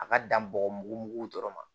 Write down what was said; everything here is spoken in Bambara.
A ka dan bɔgɔ mugu mugu dɔrɔn ma